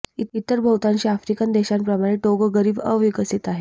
इतर बहुतांशी आफ्रिकन देशांप्रमाणे टोगो गरीब व अविकसित आहे